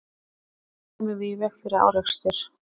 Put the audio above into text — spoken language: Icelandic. En hvernig kæmum við í veg fyrir árekstur?